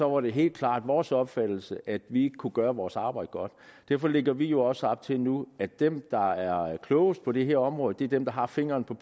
var det helt klart vores opfattelse at vi ikke kunne gøre vores arbejde godt derfor lægger vi jo også op til nu at dem der er klogest på det her område er dem der har fingeren på